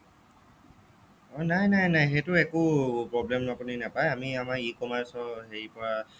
নাই নাই নাই সেইটো একো problem আপুনি নেপাই আমি আমাৰ e commerce ৰ হেৰি পৰা